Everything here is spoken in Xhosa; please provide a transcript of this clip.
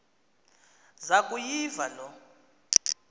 zaku yiva loo